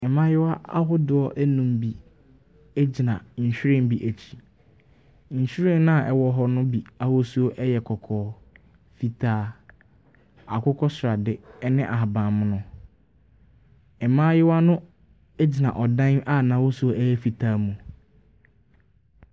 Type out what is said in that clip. Mmayewa ahodoɔ nnum gyina nhwiren bi akyi. Nhwiren a ɛwɔ hɔ no bi ahosuo yɛ kɔkɔɔ, fitaa, akokɔsrade ne ahabammono. Mmaayewa no gina ɔdan a n'ahosuo yɛ fitaa mu.